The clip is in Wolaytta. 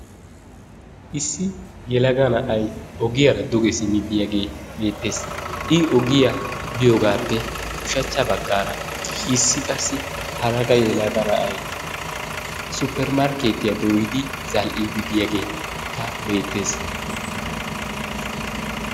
Issi yelagaa na'ay ogiyaara duge simmi biyaagee beetees. I ogiyaa biyogaappe ushshachcha baggaara issi qassi hara qa yelaga na'ay suppermarkketiyaa dooyidi zal''idi diyaageekka beettees.